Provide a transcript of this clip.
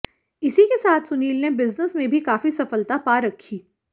इसी के साथ सुनील ने बिजनेस में भी काफी सफलता पा रखी